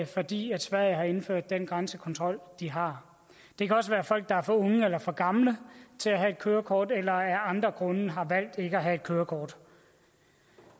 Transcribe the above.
fordi sverige har indført den grænsekontrol de har det kan også være folk der er for unge eller for gamle til at have et kørekort eller af andre grunde har valgt ikke at have et kørekort